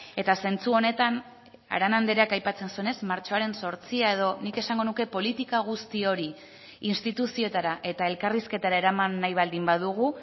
eta zentzu honetan arana andreak aipatzen zuenez martxoaren zortzia edo nik esango nuke politika guzti hori instituzioetara eta elkarrizketara eraman nahi baldin badugu